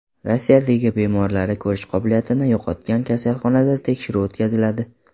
Rossiyadagi bemorlari ko‘rish qobiliyatini yo‘qotgan kasalxonada tekshiruv o‘tkaziladi.